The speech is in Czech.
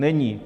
Není.